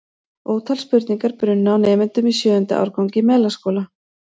Ótal spurningar brunnu á nemendum í sjöunda árgangi Melaskóla.